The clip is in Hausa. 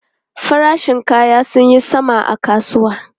Farashin kaya sun yi sama a kasuwa.